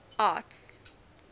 arts